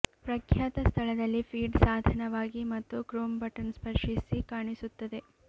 ಪ್ರಖ್ಯಾತ ಸ್ಥಳದಲ್ಲಿ ಫೀಡ್ ಸಾಧನವಾಗಿ ಮತ್ತು ಕ್ರೋಮ್ ಬಟನ್ ಸ್ಪರ್ಶಿಸಿ ಕಾಣಿಸುತ್ತದೆ